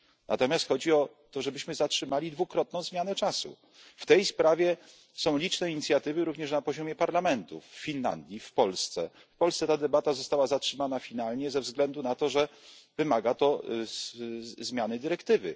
Natomiast chodzi o to, żebyśmy zaprzestali dwukrotnej zmiany czasu. W tej sprawie są liczne inicjatywy, również na poziomie parlamentów w Finlandii, w Polsce. W Polsce ta debata została ostatecznie zatrzymana ze względu na to, że wymaga to zmiany dyrektywy.